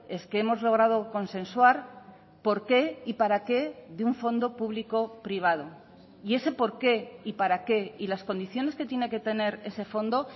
es que hemos logrado consensuar por qué y para qué de un fondo público privado y ese porqué y para qué y las condiciones que tiene que tener ese fondo